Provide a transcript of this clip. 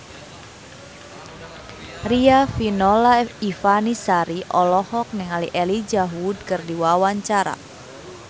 Riafinola Ifani Sari olohok ningali Elijah Wood keur diwawancara